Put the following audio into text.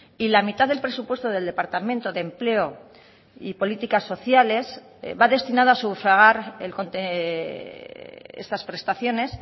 y la mitad del presupuesto del departamento de empleo y políticas sociales va destinado a sufragar estas prestaciones